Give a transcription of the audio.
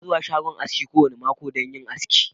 Ina zuwa shagon aski kowane mako don yin aski.